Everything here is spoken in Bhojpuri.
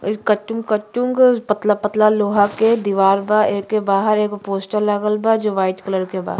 इ कटुग कटुग पतला पतला लोहा के दिवार बा। एके बाहर एगो पोस्टर लागल बा जो वाइट कलर के बा।